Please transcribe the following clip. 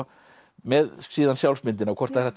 með síðan sjálfsmyndina hvort það er hægt